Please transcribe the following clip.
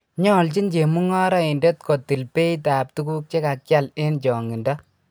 Nyoljin chemungaraindet kotil beitab tuguk che kakial eng changinda